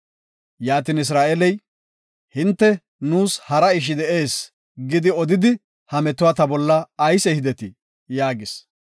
Yaatin Isra7eeley, “Hinte, ‘Nuus hara ishi de7ees’ gidi odidi ha metuwa ta bolla ayis ehidetii?” yaagis.